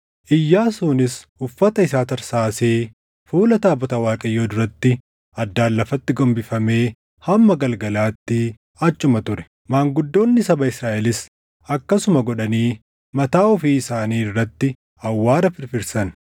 Iyyaasuunis uffata isaa tarsaasee fuula taabota Waaqayyoo duratti addaan lafatti gombifamee hamma galgalaatti achuma ture. Maanguddoonni saba Israaʼelis akkasuma godhanii mataa ofii isaanii irratti awwaara firfirsan.